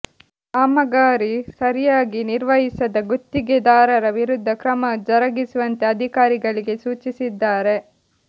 ಕಾಮಗಾರಿ ಸರಿಯಾಗಿ ನಿರ್ವಹಿಸದ ಗುತ್ತಿಗೆದಾರರ ವಿರುದ್ಧ ಕ್ರಮ ಜರುಗಿಸುವಂತೆ ಅಧಿಕಾರಿಗಳಿಗೆ ಸೂಚಿಸಿದ್ದಾರೆ